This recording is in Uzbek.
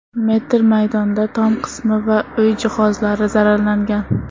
metr maydonda tom qismi va uy jihozlari zararlangan.